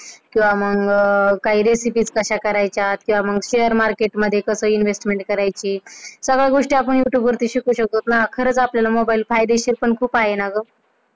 किंवा मग काय Recipe कश्या करायच्या किंवा मग Share Market मध्ये कस investment करायची सगळ्या गोष्टी आपण youtube वरती शिकू शकतो खरंच आपल्याला मोबाइल फायदेशीर पण आहे ना ग.